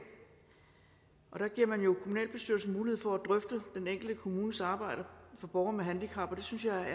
der giver man jo kommunalbestyrelsen mulighed for at drøfte den enkelte kommunes arbejde for borgere med handicap og det synes jeg